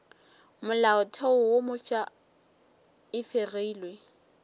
molaotheo wo mofsa e fegilwe